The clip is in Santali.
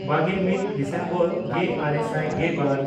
ᱵᱟᱜᱮᱼᱢᱤᱫ ᱰᱤᱥᱮᱢᱵᱚᱨ ᱜᱮᱼᱟᱨᱮ ᱥᱟᱭ ᱜᱮᱵᱟᱨ